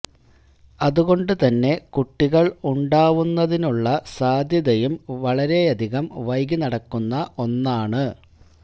അതുകൊണ്ട് തന്നെ കുട്ടികള് ഉണ്ടാവുന്നതിനുള്ള സാധ്യതയും വളരെയധികം വൈകി നടക്കുന്ന ഒന്നാണ്